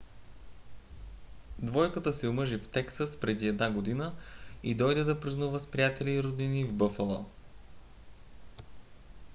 двойката се омъжи в тексас преди една година и дойде да празнува с приятели и роднини в бъфало